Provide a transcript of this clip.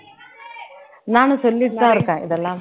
நானும் சொல்லிட்டு தான் இருக்கேன் இதெல்லாம்